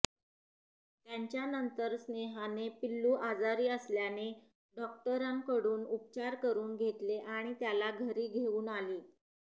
त्याच्यानंतर स्नेहाने पिल्लू आजारी असल्याने डॉक्टरकडून उपचार करून घेतले आणि त्याला घरी घेऊन आली